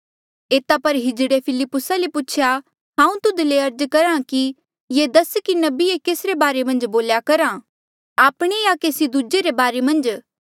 एता पर किन्नरे फिलिप्पुसा ले पूछेया हांऊँ तुध ले अर्ज करहा कि ये दस कि नबी ये केस रे बारे मन्झ बोल्या करहा आपणेया केसी दूजे रे बारे मन्झ